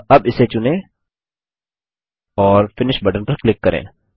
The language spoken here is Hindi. अतः अब इसे चुनें और फिनिश बटन पर क्लिक करें